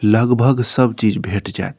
लगभग सब चीज भेट जाएत।